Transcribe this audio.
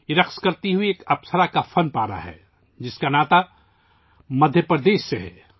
یہ ایک رقص کرتی ہوئی 'اپسرا' کا مجسمہ ہے، جس کا تعلق مدھیہ پردیش سے ہے